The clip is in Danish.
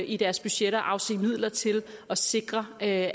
i deres budgetter at afse midler til at sikre at